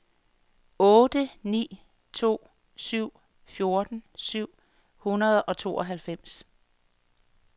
otte ni to syv fjorten syv hundrede og tooghalvfems